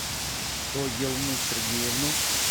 соелму сергеевну